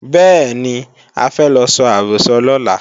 Bẹ́ẹ̀ni, a fẹ́ lọ so àrọ́sọ lọ́la